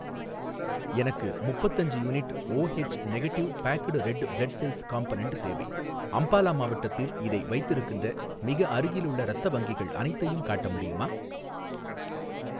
எனக்கு முப்பத்தஞ்சு unit O negative packed red blood cells component தேவை, அம்பாலா மாவட்டத்தில் இதை வைத்திருக்கின்ற மிக அருகிலுள்ள இரத்த வங்கிகள் அனைத்தையும் காட்ட முடியுமா?